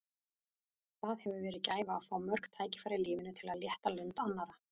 Það hefur verið gæfa að fá mörg tækifæri í lífinu til að létta lund annarra.